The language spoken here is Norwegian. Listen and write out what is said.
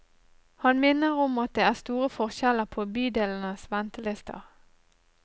Han minner om at det er store forskjeller på bydelenes ventelister.